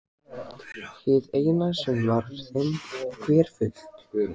Hið eina sem var þeim hverfult.